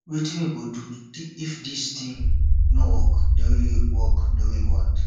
wetin we go do if dis thing no work the way work the way we want